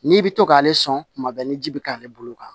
N'i bɛ to k'ale sɔn kuma bɛɛ ni ji bɛ k'ale bolo kan